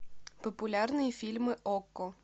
популярные фильмы окко